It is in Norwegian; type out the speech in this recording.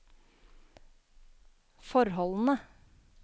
forholdene